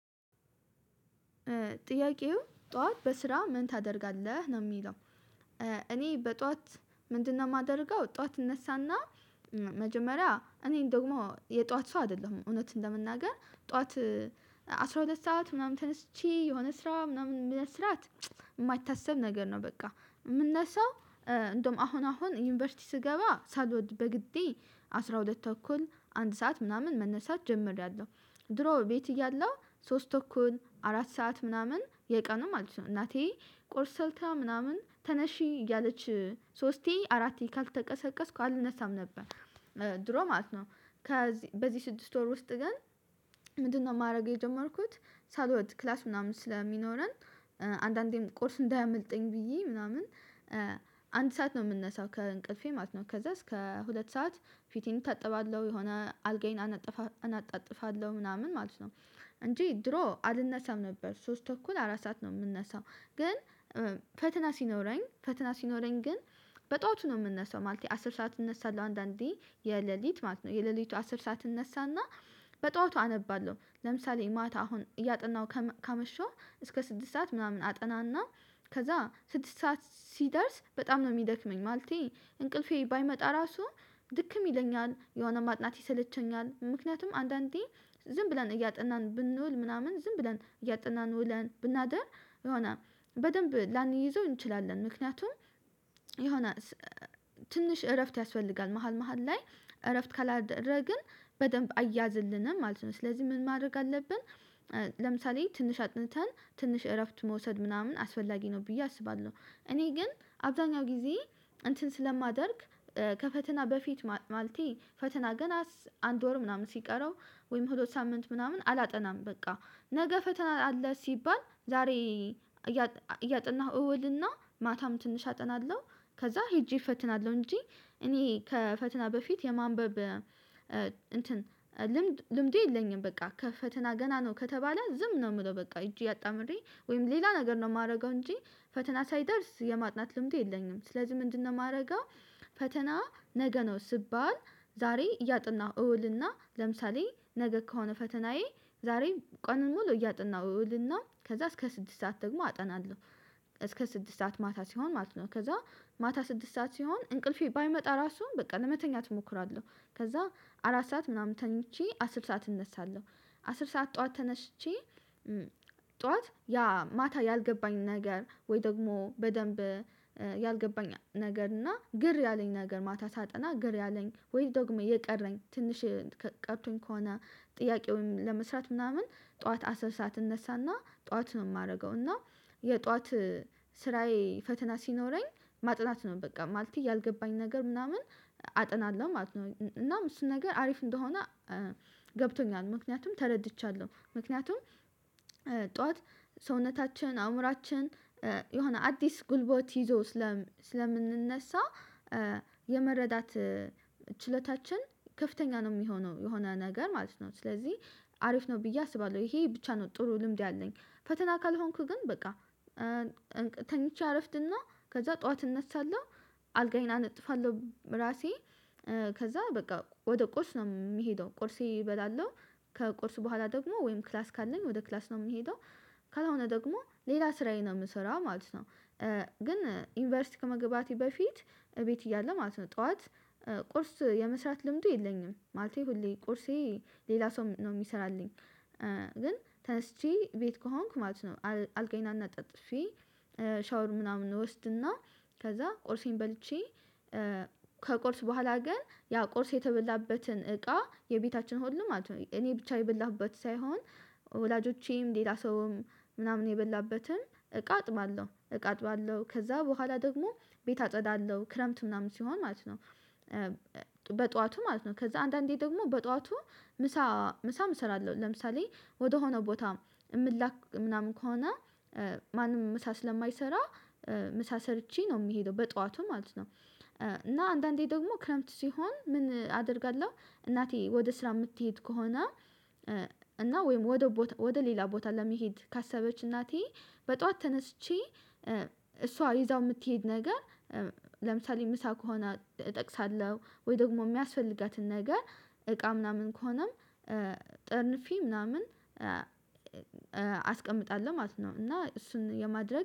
ጥያቄው ጠዋት በስራ ምን ታደርጋለህ ነው የሚለው? እኔ በጠዋት ምንድነው የማደርገው ጠዋት እነሳ እና መጀመሪያ እኔን ደግሞ የጧት ሰው አይደለሁም እውነት ለመናገር ጠዋት አስራ ሁለት ሰዓት ምናምን ተነስቼ የሆነ ስራ ምናምን ለመስራት የሚታሰብ ነገር ነው በቃ የምነሳው። እንደውም አሁን አሁን ዩኒቨርሲቲ ስገባ ሳልወድ በግዴ አስራ ሁለት ተኩል አንድ ሰዓት ምናምን መነሳት ጀምሬያለሁ ድሮ ቤት እያለው ሶስት ተኩል አራት ሰዓት ምናምን የቀኑ ማለት ነው እናቴ ቆርስ ሰርታ ምናምን ተነሺ እያለች ሶስቴ አራቴ ካልተቀሰቀስኩ አልነሳም ነበር ድሮ ማለት ነው። ከዚህ በዚህ ስድስት ወር ውስጥ ገን ምንድነው ማድረግ የጀመርኩት ሳሎድ ክላስ ምናምን ስለሚኖረን አንዳንዴም ቁርስ እንዳያመልጠኝ ብዬ ምናምን አንድ ሰዓት ነው የምነሳው ከእንቅልፌ ማለት ነው ከዛ እስከ ሁለት ሰዓት ፊቴን እታጠባለሁ የሆነ አልጋዬን አነጥፋለሁ አነጣጥፋለሁ ምናምን ማለት ነው እንጂ ድሮ አልነሳም ነበር ሶስት ተኩል አራት ሰዓት ነው የምነሳው። ግን ፈተና ሲኖረኝ ፈተና ሲኖረኝ ግን በጧቱ ነው የምንነሳው ማለት ነው። አስር ሰዓት እንነሳለው አንዳንዴ የሌሊት ማለት ነው የሌሊቱ አስር ሰዓት እንነሳና በጧቱ አነባለሁ ለምሳሌ ማታ አሁን እያጠናው ካመሸው እስከ ስድስት ሰዓት ምናምን አጠና እና ከዛ ስድስት ሰዓት ሲደርስ በጣም ነው የሚደክመኝ ማለቴ እንቅልፌ ባይመጣ ራሱ ድክም ይለኛል የሆነ ማጥናት ይሰለቸኛል። ምክንያቱም አንዳንዴ ዝም ብለን እያጠናን ብንውል ምናምን ዝም ብለን እያጠናን ውለን ብናድር የሆነ በደንብ ላንይዘው እንችላለን ምክንያቱም የሆነ ትንሽ እረፍት ያስፈልጋል መሃል መሃል ላይ እረፍት ካላደረግን በደንብ አያዝልንም ማለት ነው። ስለዚህ ምን ማድረግ አለብን? ለምሳሌ ትንሽ አጥንተን ትንሽ እረፍት መውሰድ ምናምን አስፈላጊ ነው። ብዬ አስባለሁ እኔ ግን አብዛኛው ጊዜ እንትን ስለማደርግ ከፈተና በፊት ማልቴ ፈተና ገና አንድ ወር ምናምን ሲቀረው ወይም ሁለት ሳምንት ምናምን አላጠናም በቃ ነገ ፈተና አለ ሲባል ዛሬ እያጠናሁ እውል እና ማታም ትንሽ አጠናለሁ ከዛ ሄጄ እፈትናለሁ እንጂ እኔ ከፈትና በፊት የማንበብ እንትን ልምድ ልምዴ የለኝም። በቃ ከፈተና ገና ነው ከተባለ ዝም ነው የምለው በቃ እጅ ያጣምሬ ወይም ሌላ ነገር ነው የማደርገው እንጂ ፈተና ሳይደርስ የማጥናት ልምዱ የለኝም ስለዚህ ምንድነው የማደርገው? ፈተና ነገ ነው ስባል ዛሬ እያጥናሁ እውልና ለምሳሌ ነገ ከሆነ ፈተናዬ ዛሬ ቀን ሙሉ እያጥናሁ እውልና ከዛ እስከ ስድስት ሰዓት ደግሞ አጠናለሁ። እስከ ስድስት ሰዓት ማታ ሲሆን ማለት ነው ከዛ ማታ ስድስት ሰዓት ሲሆን እንቅልፌ ባይመጣ ራሱ በቃ ለመተኛት እሞክራለሁ። ከዛ አራት ሰዓት ምናምን ተኝቼ አስር ሰዓት እነሳለሁ አስር ሰዓት ጠዋት ተነስቼ ነገ ከሆነ ፈተናዬ ዛሬ ቀን ሙሉ እያጥናሁ እውልና ከዛ እስከ ስድስት ሰዓት ደግሞ አጠናለሁ እስከ ስድስት ሰዓት ማታ ሲሆን ማለት ነው ከዛ ማታ ስድስት ሰዓት ሲሆን እንቅልፌ ባይመጣ ራሱ በቃ ለመተኛት እሞክራለሁ ከዛ አራት ሰዓት ምናምን ተኝቼ አስር ሰዓት እነሳለሁ። አስር ሰዓት ጠዋት ተነስቼ ያልገባኝ ነገር እና ግር ያለኝ ነገር ማታ ሳጠና ግር ያለኝ ወይ ደግሞ የቀረኝ ትንሽ ቀርቶኝ ከሆነ ጥያቄውን ለመስራት ምናምን ጠዋት አስር ሰዓት እነሳና ጠዋት ነው የማደርገው እና የጠዋት ስራዬ ፈተና ሲኖረኝ ማጥናት ነው በቃ ማለት ያልገባኝ ነገር ምናምን አጥናለሁ ማለት ነው። እናም እሱን ነገር አሪፍ እንደሆነ ገብቶኛል ምክንያቱም ተረድቻለሁ ምክንያቱም ጠዋት ሰውነታችን አእምሮአችን የሆነ አዲስ ጉልበት ይዞ ስለምንነሳ የመረዳት ችሎታችን ከፍተኛ ነው የሚሆነው የሆነ ነገር ማለት ነው ስለዚህ አሪፍ ነው ብዬ አስባለሁ። ይሄ ብቻ ነው ጥሩ ልምድ ያለኝ ፈተና ካልሆንኩ ግን በቃ ተኝቼ አረፍድና ከዛ ጠዋት እነሳለሁ። አልጋዬን አነጥፋለሁ ራሴ ከዛ በቃ ወደ ቁርስ ነው የምሄደው ቁርሴን እበላለሁ ከቁርስ በኋላ ደግሞ ወይም ክላስ ካለኝ ወደ ክላስ ነው የምንሄደው ካልሆነ ደግሞ ሌላ ስራዬ ነው የምሰራው ማለት ነው። ግን ዩኒቨርሲቲ ከመግባቴ በፊት እቤት እያለ ማለት ነው ጠዋት ቁርስ የመስራት ልምዱ የለኝም ማለቴ ሁሌ ቁርሴን ሌላ ሰው ነው የሚሰራልኝ። ግን ተነስቼ ቤት ከሆንኩ ማለት ነው አልጋዬን አነጣጥፌ ሻወር ምናምን እወስድና ከዛ ቁርሴን በልቼ ከቁርስ በኋላ ግን ያ ቁርስ የተበላበትን እቃ የቤታችን ሁሉ ማለት ነው እኔ ብቻ የበላሁበት ሳይሆን ወላጆቼም ሌላ ሰውም ምናምን የበላበትን እቃ አጥባለሁ እቃ አጥባለሁ ከዛ በኋላ ደግሞ ቤት አጸዳለሁ ክረምት ምናምን ሲሆን ማለት ነው። በጧቱ ማለት ነው ከዛ አንዳንዴ ደግሞ በጧቱ ምሳ ምሳም እሰራለሁ ለምሳሌ ወደሆነ ቦታ የምትላክ ምናምን ከሆነ ማንም ምሳ ስለማይሰራ ምሳ ሰርቼ ነው የምሄደው በጠዋቱ ማለት ነው። እና አንዳንዴ ደግሞ ክረምት ሲሆን ምን አደርጋለሁ? እናቴ ወደ ስራ የምትሄድ ከሆነ እና ወይም ወደ ሌላ ቦታ ለመሄድ ካሰበች እናቴ በጧት ተነስቼ እሷ ይዛው የምትሄድ ነገር ለምሳሌ ምሳ ከሆነ እጠቅሳለሁ ወይ ደግሞ የሚያስፈልጋትን ነገር እቃ ምናምን ከሆነም ጥርንፊ ምናምን አስቀምጣለሁ ማለት ነው። እና እሱን የማድረግ